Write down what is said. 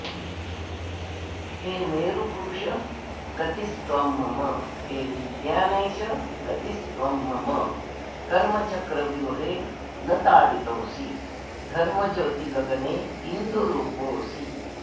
हे मेरुपुरुष गतिस्त्वं मम हे विज्ञानेश गतिस्त्वं मम कर्मचक्रव्यूहे न ताडितोऽसि धर्मज्योतिगगने इन्दुरूपोऽसि